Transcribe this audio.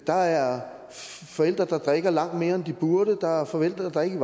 der er forældre der drikker langt mere end de burde der er forældre der ikke